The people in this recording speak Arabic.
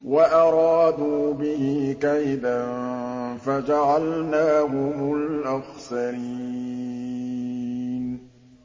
وَأَرَادُوا بِهِ كَيْدًا فَجَعَلْنَاهُمُ الْأَخْسَرِينَ